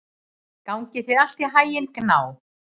Gangi þér allt í haginn, Gná.